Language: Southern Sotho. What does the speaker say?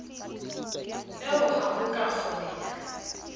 eo ha ho ka kgoneha